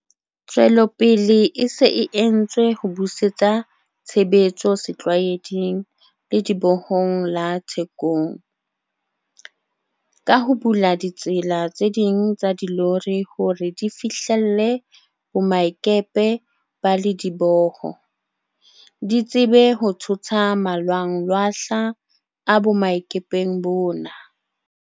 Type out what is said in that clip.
Tswelopele e se e entswe ho busetsa tshebetso setlwaeding Ledibohong la Thekong, ka ho bula ditsela tse ding tsa dilori hore di fihlelle boemakepe ba lediboho, di tsebe ho thotha malwanglwahla a boemakepeng bona.